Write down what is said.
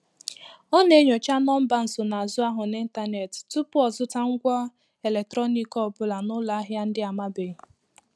Ọ na-enyocha nọmba nsonazụ ahụ n'ịntanetị tupu ọzụta ngwa eletrọnik ọ bụla n'ụlọ ahịa ndị amabeghị.